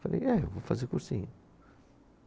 Falei, é, eu vou fazer cursinho.